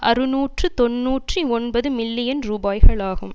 அறுநூற்று தொன்னூற்றி ஒன்பது மில்லியன் ரூபாய்களாகும்